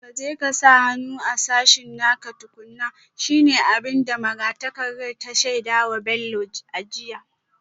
Ka je ka sa hannu a sashen naka tukuna, shi ne abin da magatakardar ya shaida wa Bello a jiya